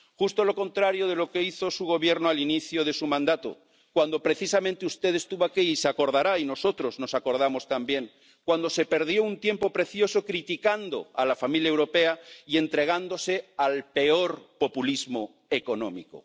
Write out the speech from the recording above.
Justo lo contrario de lo que hizo su Gobierno al inicio de su mandato, cuando precisamente usted estuvo aquí —se acordará y nosotros nos acordamos también—, cuando se perdió un tiempo precioso criticando a la familia europea y entregándose al peor populismo económico.